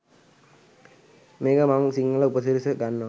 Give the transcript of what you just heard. මේකට මං සිංහල උපසිරැසි ගන්වා